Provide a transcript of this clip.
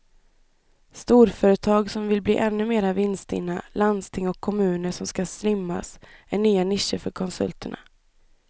Storföretag som vill bli ännu mer vinststinna, landsting och kommuner som ska slimmas är nya nischer för konsulterna.